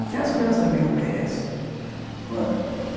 Porque as crianças também não merecem.